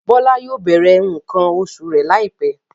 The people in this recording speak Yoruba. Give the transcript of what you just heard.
Bọ́lá yóò bẹ̀rẹ̀ nǹkan oṣù rẹ̀ láìpẹ́.